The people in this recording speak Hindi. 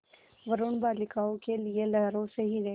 वरूण बालिकाओं के लिए लहरों से हीरे